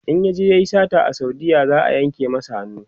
in yaje yayi sata a saudiya za'a yanka masa hannu